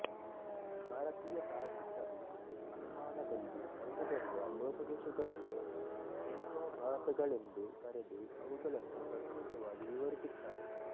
ಭಾರತೀಯ ತಾರ್ಕಿಕರು ಅನುಮಾನದಲ್ಲಿ ಕಂಡು ಬರುವ ಲೋಪದೋಷಗಳನ್ನು ಹೇತ್ವಾಭಾಸಗಳೆಂದು ಕರೆದು ಅವುಗಳನ್ನು ಪ್ರತ್ಯೇಕವಾಗಿ ವಿವರಿಸಿರುತ್ತಾರೆ